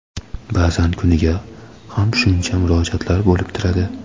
Ba’zan kuniga ham shuncha murojaatlar bo‘lib turadi.